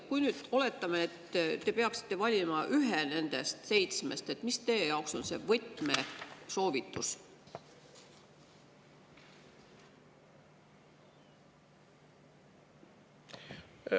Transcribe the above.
Kui me nüüd oletame, et te peaksite valima ühe nendest seitsmest, siis mis teie jaoks on see võtmesoovitus?